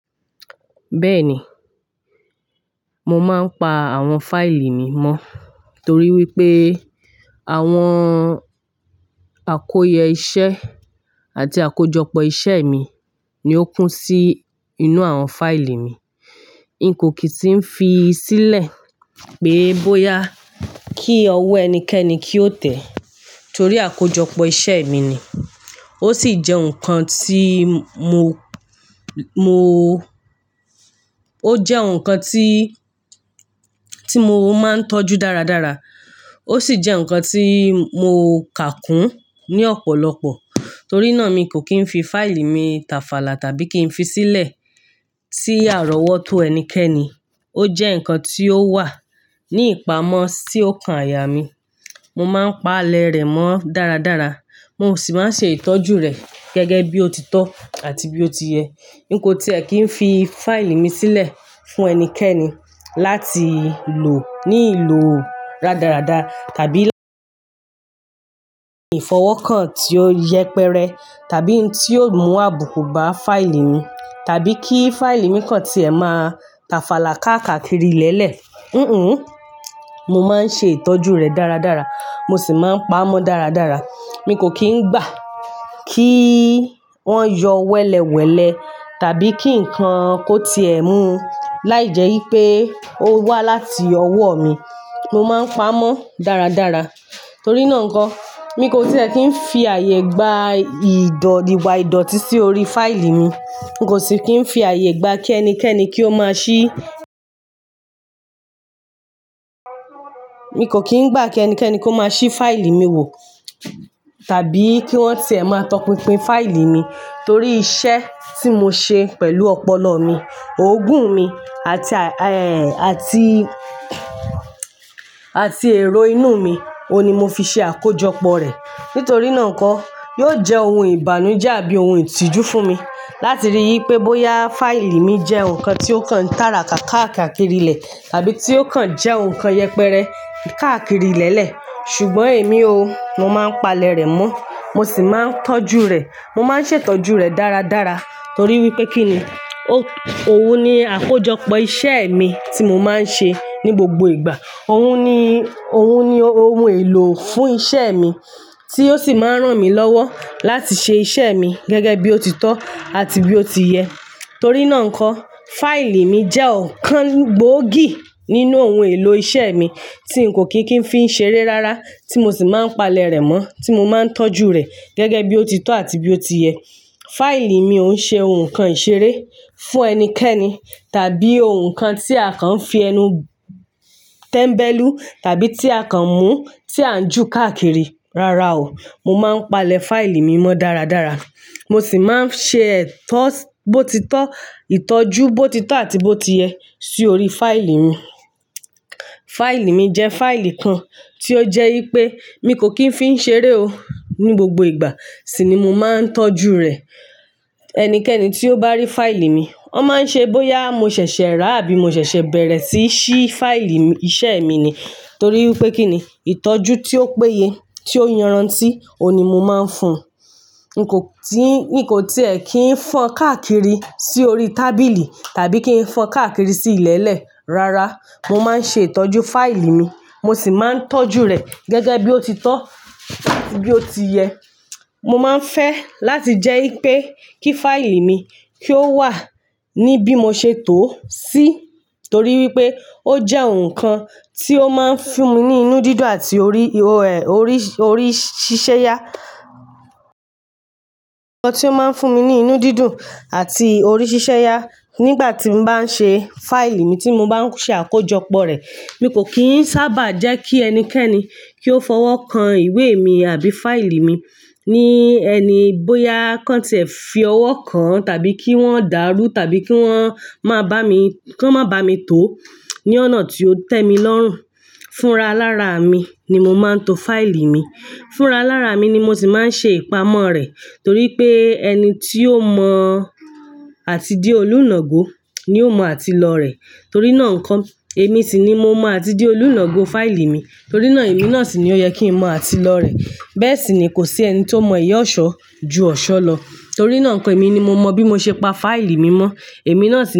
Bẹ́ẹ̀ni, mo máa ń pa àwọn fáìlì mi mọ́ torí wípé àwọn àkóye iṣẹ́ àti àkójọpọ̀ iṣẹ́ mi ni ó kún sí inú àwọn fáìlì mi. N kò kí ń fi sílẹ̀ pé bóyá kí ọwọ́ ẹnikẹ́ni kí ó tẹ́ torí àkójọpọ̀ iṣẹ́ mi ni. Ó sì jẹ́ ǹkan tí mo, mo, ó jẹ́ ǹkan tí, tí mo máa ń tọ́jú dáradára. Ó sì jẹ́ ǹkan tí mo kà kún ní ọ̀pọ̀lọpọ̀ torí náà mi kò kí ń fi fáìlì mi tafàlà tàbí kí n fi sílẹ̀ sí àrọ́wọ́tó ẹnikẹ́ni. Ó jẹ́ ǹkan tí ó wà ní ìpamọ́ tí ó kan àyà mí. Mo máa ń pa àlẹ̀ rẹ̀ mọ́ dáradára. Mo sì máa ń ṣe ìtọ́jú rẹ̀ gẹ́gẹ́ bí ó ti tọ́ àti bí ó ti yẹ. N kò tí è kí ń fi fáìlì mi sílẹ̀ fún ẹnikẹ́ni láti lò ní ìlò rádaràda tàbí láti fọwọ́ kan tí ó yẹpẹrẹ tàbí tí ó mú àbùkù bá fáìlì mi tàbí kí fáìlì mi kan tí ẹ máa tafàlà káàkiri lẹ́lẹ̀. Hunhùn, mo máa ń ṣe ìtọ́jú rẹ̀ dáradára. Mo sì máa ń pa á mọ́ dáradára. Mi kò kí ń gbà kí wọ́n yọ wẹ́lẹ̀wẹ́lẹ̀ tàbí kí nǹkan kó tiẹ̀ mú láìjẹ́ wípé ó wá láti ọwọ́ mi. Mo máa ń pa á mọ́ dáradára. Torí náà ǹkan, mi kò tí è kí ń fi àyè gba ìdọ iwà ìdọ̀tí sí orí fáìlì mi. N kò sì kí ń fi àyè gba kí ẹnikẹ́ni kí ó máa ṣí Mi kò kí ń gbà kí ẹnikẹ́ni kó máa ṣí fáìlì mi wò tàbí kí wọ́n tiẹ̀ máa tọpinpin fáìlì mi torí iṣẹ́ tí mo ṣe pẹ̀lú ọpọlọ mi, òògùn mi àti, ee àti, àti èrò inú mi, òun ni mo fi ṣe àkójọpọ̀ rẹ̀. Nítorí náà ǹkọ, yóò jẹ́ ohun ìbànújẹ́ àbí ohun ìtìjú fún mi láti rí í pé bóyá fáìlì mi jẹ́ ǹkan tí ó kan tara kákàkiri ilẹ̀ tàbí tí ó kan jẹ́ ǹkan yẹpẹrẹ káàkiri ilẹ̀lẹ̀. Ṣùgbọ́n èmi o, mo máa ń palẹ̀ rẹ̀ mọ́. Mo sì máa ń tọ́jú rẹ̀. Mo máa ń ṣètọ́jú rẹ̀ dáradára torí wípé kínni, o òun ni àkójọpọ̀ iṣẹ́ mi tí mo máa ń ṣe ní gbogbo ìgbà. Òun ni, òun ni ohun èlò fún iṣẹ́ mi tí ó sì máa ń ràn mí lọ́wọ́ láti ṣe iṣẹ́ mi gẹ́gẹ́ bí ó ti tọ́ àti bí ó ti yẹ. Torí náà ǹkọ, fáìlì mi jẹ́ ǹkan gbòógì nínú ohun èlò iṣẹ́ mi tí n kò kí ń fi ń ṣe eré rárá, tí mo sì máa ń palẹ̀ rẹ̀ mọ́, tí mo máa ń tọ́jú rẹ̀ gẹ́gẹ́ bí ó ti tọ́ àti bí ó ti yẹ. Fáìlì mi ò ń ṣe ǹkan ìṣeré fún ẹnikẹ́ni tàbí ohun kan tí àkàn fi ẹnu tẹ̀mbẹ́lú tàbí tí àkàn mú tí à ń jó káàkiri. Rárá o, mo máa ń palẹ̀ fáìlì mi mọ́ dáradára. Mo sì máa ń ṣe ìtọ́, bó ti tọ́, ìtọ́jú bó ti tọ́ àti bó ti yẹ sí orí fáìlì mi. Fáìlì mi jẹ́ fáìlì kan tí ó jẹ́ wípé mi kò kí ń fi ń ṣe eré o ní gbogbo ìgbà sì ni mo máa ń tọ́jú rẹ̀. Ẹnikẹ́ni tí ó bá rí fáìlì mi, a máa ń ṣe bóyá mo ṣẹ̀ṣẹ̀ rà àbí mo ṣẹ̀ṣẹ̀ bẹ̀rẹ̀ sí í ṣí fáìlì mi, iṣẹ́ mi ni torí wípé kínni ìtọ́jú tí ó péye, tí ó yanran tí, òun ni mo máa ń fún un. N kò tí, n kò tí è kí ń fọ́ káàkiri sí orí tábìlì tàbí kí ń fọ́ káàkiri sí ilẹ̀lẹ̀. Rárá, mo máa ń ṣe ìtọ́jú fáìlì mi. Mo sì máa ń tọ́jú rẹ̀ gẹ́gẹ́ bí ó ti tọ́, bí ó ti yẹ. Mo máa ń fẹ́ láti jẹ́ wípé kí fáìlì mi kí ó wà ní bí mo ṣe tòó sí torí wípé ó jẹ́ ǹkan tí ó máa ń fún mi ní inú dídùn àti orí, orí, orí ṣíṣe ya. Ǹkan tí ó máa ń fún mi ní inú dídùn àti orí ṣíṣe ya nígbà tí mo bá ń ṣe fáìlì mi tí mo bá ń ṣe àkójọpọ̀ rẹ̀. Mi kò kì í sábà jẹ́ kí ẹnikẹ́ni kí ó fọwọ́ kan ìwé mi àbí fáìlì mi ní ẹni bóyá káǹ tí è ń fi ọwọ́ kan tàbí kí wọ́n dàrú tàbí kí wọ́n máa bá mi, kí wọ́n máa bá mi tó ní ọ̀nà tí ó tẹ́mi lọ́rùn. Fúnra lára mi ni mo máa ń to fáìlì mi. Fúnra lára mi ni mo sì máa ń ṣe ìpamọ́ rẹ̀ torí pé ẹni tí ó mọ àti di olùnàgo ni ó mọ àti lọ rẹ̀. Rárá o, mo máa ń palẹ̀ fáìlì mi mọ́ dáradára. Mo sì máa ń ṣe ìtọ́, bó ti tọ́, ìtọ́jú bó ti tọ́ àti bó ti yẹ sí orí fáìlì mi. Fáìlì mi jẹ́ fáìlì kan tí ó jẹ́ wípé mi kò kí ń fi ń ṣe eré o ní gbogbo ìgbà sì ni mo máa ń tọ́jú rẹ̀. Torí náà ǹkan, èmi ni mo mọ bí mo ṣe pa fáìlì mi mọ́. Èmi náà sì ni.